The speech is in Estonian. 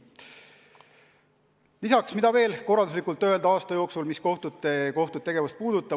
Nii, mida veel öelda kohtute tegevuse korraldusliku külje kohta?